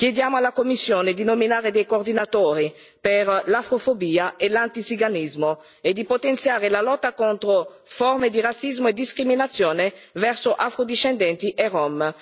Chiediamo alla Commissione di nominare dei coordinatori per l'afrofobia e l'antiziganismo e di potenziare la lotta contro le forme di razzismo e discriminazione verso afrodiscendenti e rom.